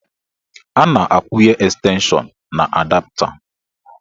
A na-akwụnye estenshọn na adapta.